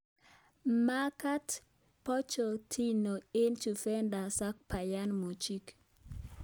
Magaat Pochettino eng Juventas ak Bayan Munich